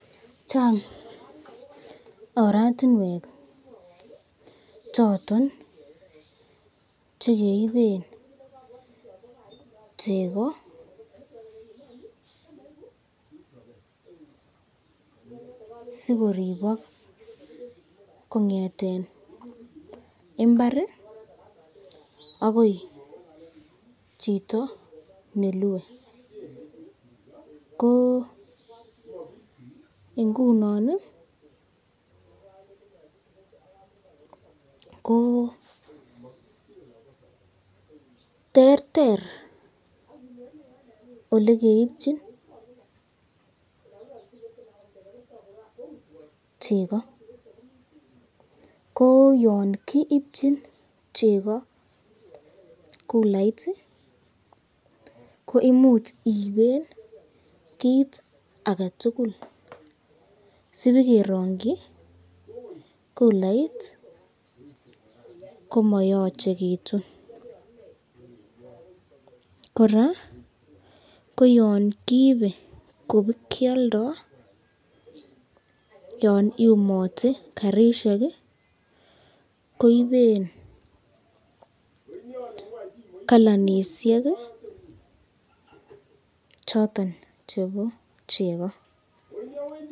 Chang ortinwek choton chekeiben chekosikoribok kongeten imbar akoi chito nelue, ko ingunon ko terter olekeipchin cheko, ko yon kiibchin cheko kulait koimuch iiben kit aketukul sibikerongyi culait komayachekitun , koraa ko yan kiibe kobikyalda yon iumate karishek koiben kalanisyek choton chebo cheko.